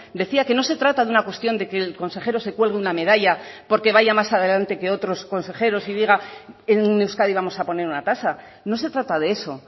decía que no se trata de una cuestión de que el consejero se cuelgue una medalla porque vaya más adelante que otros consejeros y diga en euskadi vamos a poner una tasa no se trata de eso